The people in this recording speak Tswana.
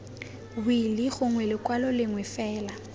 wili gongwe lekwalo lengwe fela